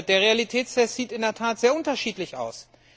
Der Realitätstest sieht in der Tat sehr unterschiedlich aus.